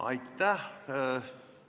Aitäh!